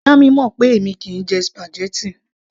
Ìyá mi mọ̀ pé èmi kìí jẹ spaghetti